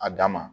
A dan ma